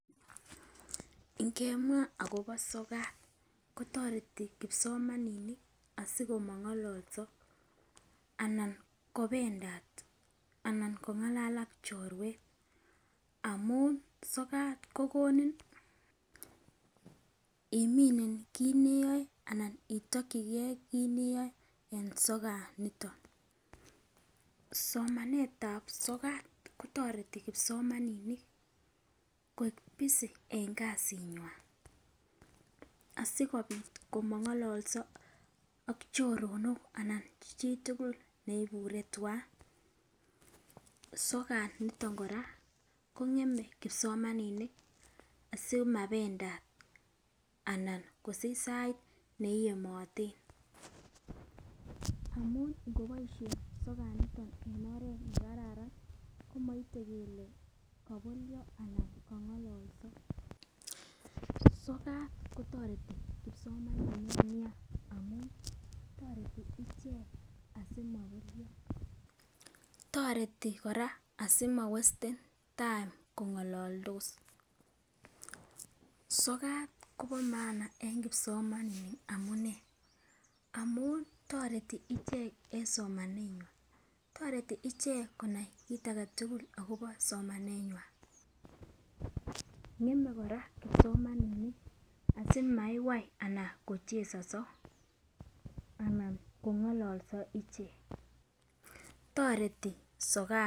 Ngemwa akobo sokat kotoreti kipsomaninik asikomongololso anan kopendat anan kongalal ak chorwet amun sokat kokoni iminen kit neyoe anan itokigee kit neyoe anan sokat niton. Somanetab sokat kotoreti kipsomaninik koik busy en kasinywan asikopit amongololso ak choronok anan chitukul neibure twan. sokat niton koraa kongeme kipsomaninit simapendat anan kosich sait neiyemoten amun ngeboishen sokat en oret nekararn komoite lkele kobolyo anan kongololso. sokat kotoretik nian amun toreti ichek asimobolso, toreti koraa simowesten time kongololtos. sokjat kobo maana e n kipsomaninit amunee, amun toreti ichek en somaneywan. Toreti ichek konai kit agetukul akobo somaneywan, ngeme koraa kipsomaninit asimaiwai anan kochezozo anan kongololso ichek, toreti sokat.